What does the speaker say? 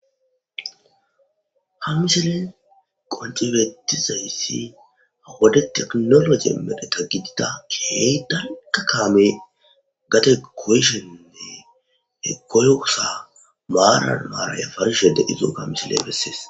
Ha misile qoncibetizayssi awode teknolo ge medheta gidida key dalga kaame gate koyishenne he koyosa maaran maaraya farishe de izoo ka misile bessees.